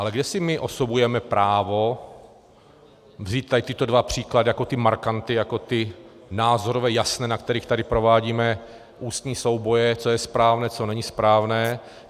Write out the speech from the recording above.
Ale kde si my osobujeme právo vzít tady tyto dva příklady jako ty markanty, jako ty názorové, jasné, na kterých tady provádíme ústní souboje, co je správné, co není správné?